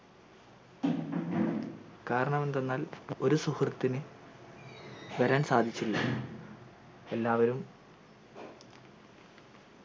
കാരണം എന്തെന്നാൽ ഒരു സുഹൃത്തിന് വരൻ സാധിച്ചില്ല എല്ലാവരും